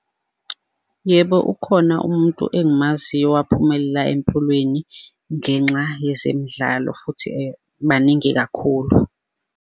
Yebo, ukhona umuntu engimaziyo owaphumelela empilweni ngenxa yezemidlalo, futhi baningi kakhulu.